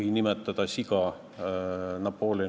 Mina isiklikult arvan, et sunniraha ülemmäär 6400 eurot on mõjus.